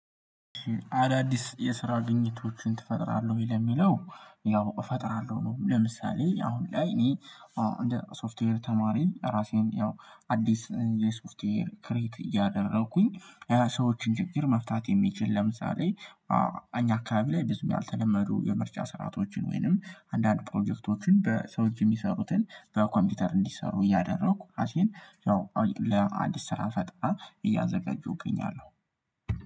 አዳዲስ የስራ ግኝቶችን ትፈጥራለህ ወይ? ለሚለው ያው እፈጥራለሁ። ነው ለምሳሌ አሁን ላይ እኔ አዎ እንደ ሶፍትዌር ተማሪ ራሴን ያው አዲስ የሶፍትዌር ክሬት እያደረኩኝ ሰዎችን ችግር መፍታት የሚችል፤ ለምሳሌ አኛ አካባቢ ላይ ብዙ ያልተለመዱ፤ የምርጫ ስርዓቶችን ወይንም አንዳንድ ፕሮጀክቶችን፤ በሰው የሚሰሩትን በኮምፒውተር እንዲሰሩ እያደረኩ፤ ራሴን ያው ለአዲስ ስራ ፈጣራን እያዘጋጀሁ እገኛለሁ።